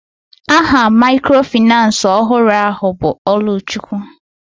Aha microfinace ọhụrụ ahụ bụ Oluchukwu.